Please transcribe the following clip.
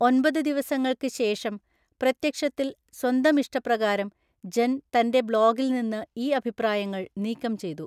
ഒമ്പത് ദിവസങ്ങൾക്ക് ശേഷം, പ്രത്യക്ഷത്തിൽ സ്വന്തം ഇഷ്ടപ്രകാരം, ജെൻ തന്‍റെ ബ്ലോഗിൽ നിന്ന് ഈ അഭിപ്രായങ്ങൾ നീക്കം ചെയ്തു.